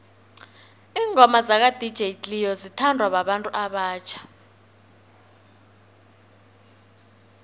ingoma zaka dj cleo zithanwa babantu abatjha